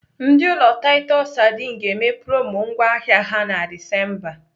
Ndị ụlọ taịtọs sadin ga-eme promo ngwá ahịa ha na Disemba.